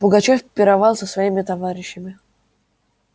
пугачёв пировал с своими товарищами